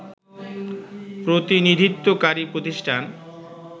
প্রতিনিধিত্বকারী প্রতিষ্ঠান